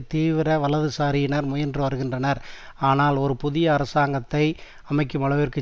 தீவிர வலதுசாரியினர் முயன்று வருகின்றனர் ஆனால் ஒரு புதிய அரசாங்கத்தை அமைக்குமளவிற்கு